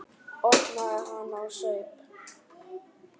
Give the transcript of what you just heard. Opnaði hana og saup á.